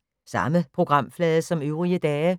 Samme programflade som øvrige dage